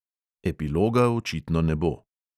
Epiloga očitno ne bo.